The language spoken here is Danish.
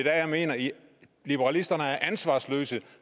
jeg mener at liberalisterne er ansvarsløse